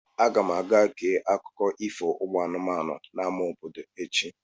Aga m aga gee akụkọ ifo ụmụ anụmanụ n'amá obodo echi.